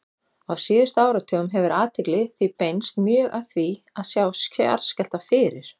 Á síðustu áratugum hefur athygli því beinst mjög að því að sjá jarðskjálfta fyrir.